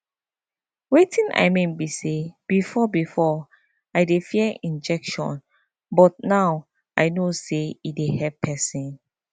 wetin i mean be say before before i dey fear injection but now i know say e dey help person